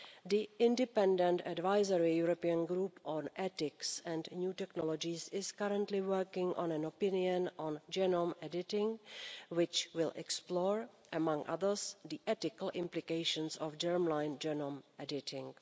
The Independent Advisory European Group on Ethics and New Technologies is currently working on an opinion on genome editing, which will explore, inter alia, the ethical implications of germline genome editing.